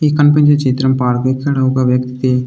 ఈ కనిపించే చిత్రం పార్క్ ఇక్కడ ఒక వ్యక్తి.